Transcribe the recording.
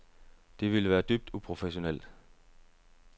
Det ville være dybt uprofessionelt.